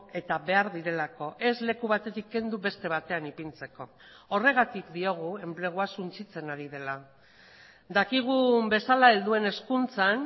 eta behar direlako ez leku batetik kendu beste batean ipintzeko horregatik diogu enplegua suntsitzen ari dela dakigun bezala helduen hezkuntzan